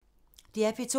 DR P2